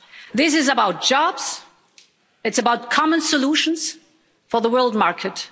This is about jobs, it's about common solutions for the world market.